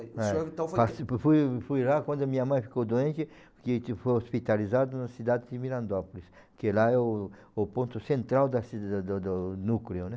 O senhor então foi... Eh, participo, fui fui lá quando a minha mãe ficou doente, porque a gente foi hospitalizado na cidade de Mirandópolis, que lá é o o ponto central da ci do do do núcleo, né?